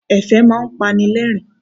Ẹ̀fẹ̀ máa ń pani lẹ́rìn-ín.